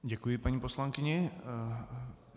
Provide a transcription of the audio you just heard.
Děkuji paní poslankyni.